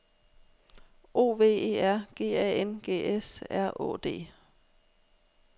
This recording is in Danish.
O V E R G A N G S R Å D